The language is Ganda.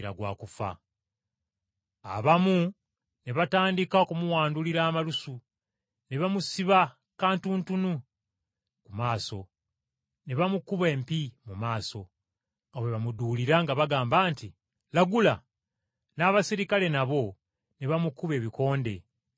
Abamu ne batandika okumuwandulira amalusu, ne bamusiba kantuntunu ku maaso, ne bamukuba empi mu maaso, nga bwe bamuduulira nga bagamba nti, “Lagula.” N’abaserikale nabo ne bamukuba ebikonde nga bamufulumya.